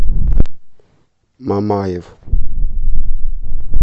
мамаев